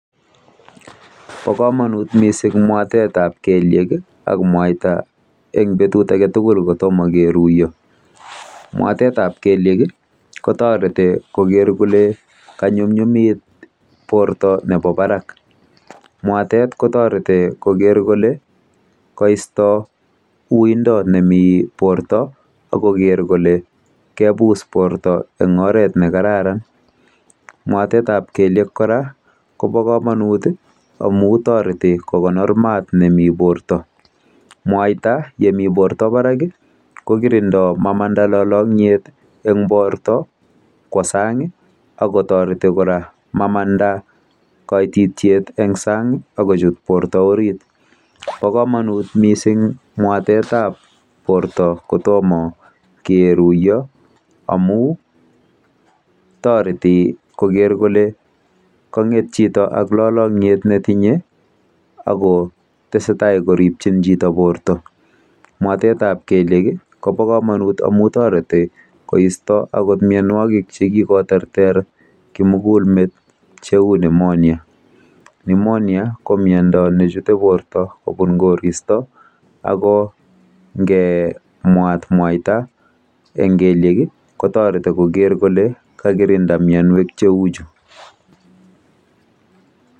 Bakamanut mising mwatet ab keliek akomwaita en betut agetugul kotoma keruiyo mwatet ab keliek kotareti Koger Kole konyumnyumit borta Nebo Barak mwatet kotareti Koger Kole kaisto uindon neminbirta agoger Kole kebus borta en oret nekararan mwatet ab keliek kora Koba kamanut amun tareti kokonor mat nemi borta mwaita Yemi borta ak Barak kokirindo Amanda lolomyet en borta Kwa sang akotareti koraa mamanda koitityet en sang akochut borta orit bakamanut mising mwatet ab borta kotomo keruiyo amun tareti Koger Kole kanget Chito ak lolomyet nemiten akotestai mwatet ab keliek kobakamanut amun tareti koristo okot mianwagik chekikoterter kimugul met cheu nemonja nemenia ko miando nechute borta kobune koristo akobngemwaita en gelyek kotareti Koger Kole kakikirinda mianwek cheuchu